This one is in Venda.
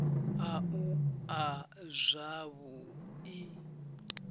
a u a zwavhu i